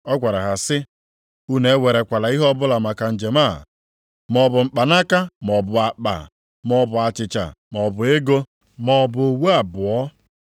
Ọ gwara ha sị, “Unu ewerekwala ihe ọbụla maka njem a, maọbụ mkpanaka maọbụ akpa, maọbụ achịcha maọbụ ego maọbụ uwe abụọ.